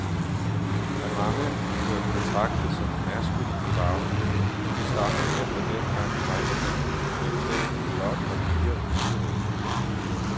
Af mange bliver den betragtet som en maskulin farve, men det stammer mere fra dengang, drengebørn blev klædt i blåt og piger i lyserødt.